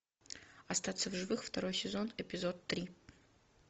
остаться в живых второй сезон эпизод три